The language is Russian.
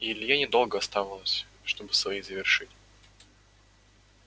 и илье недолго оставалось чтобы свои завершить